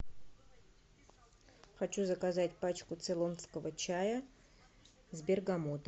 хочу заказать пачку цейлонского чая с бергамотом